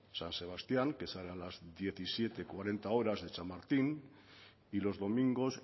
san sebastián que sale a las diecisiete cuarenta horas de chamartín y los domingos